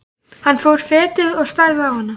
Hann fór fetið og starði á hana.